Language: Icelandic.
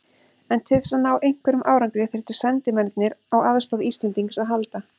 En til þess að ná einhverjum árangri þyrftu sendimennirnir á aðstoð Íslendings að halda.